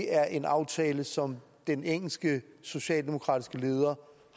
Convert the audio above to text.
er en aftale som den engelske socialdemokratiske leder